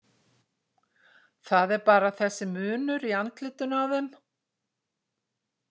Það er bara þessi munur í andlitinu á þeim.